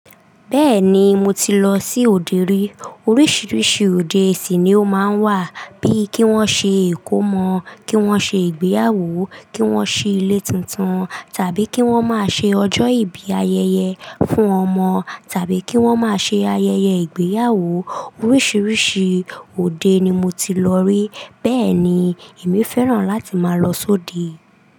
Bẹ́ẹ̀ni, mo ti lọ sí òde rí. Oríṣiríṣi òde sì ni ó máa ń wà, bíi kí wọ́n ṣe ìkómọ, kí wọ́n ṣe ìgbéyàwó, kí wọ́n ṣí ilé tuntun, tàbí kí wọ́n máa ṣe ọjọ́ ìbí ayẹyẹ fún ọmọ, tàbí kí wọ́n máa ṣe ayẹyẹ ìgbéyàwó. Oríṣiríṣi òde ni mo ti lọ rí. Bẹ́ẹ̀ ni, èmi fẹ́ràn láti máa lọ sóde.